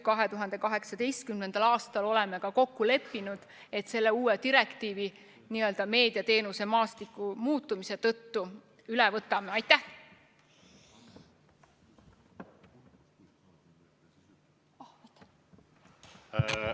2018. aastal leppisime kokku, et meediateenuse maastiku muutumise tõttu võtame üle ka selle uue direktiivi.